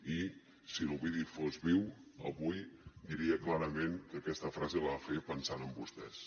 i si l’ovidi fos viu avui diria clarament que aquesta frase la va fer pensant en vostès